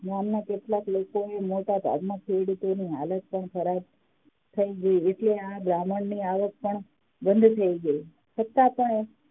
ગામના કેટલાક લોકોના મોટા ભાગના ખેડૂતોની હાલત પણ ખરાબ થઇ ગઈ એટલે આ બ્રાહ્મણ ની આવક પણ બંધ થઇ ગઈ છતાં પણ